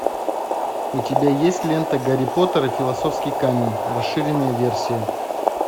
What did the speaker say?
у тебя есть лента гарри поттер и философский камень расширенная версия